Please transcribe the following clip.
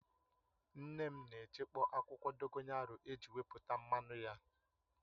Nne m na echekpọ̀ akwụkwọ dogoyaru eji wepụta mmanụ ya